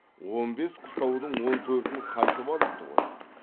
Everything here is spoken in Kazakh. он бес қыстаудың он төртін қайтып алыпты ғой